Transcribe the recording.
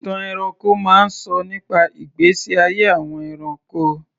Ìtàn ẹranko máa ń sọ nípa ìgbésí ayé àwọn ẹranko.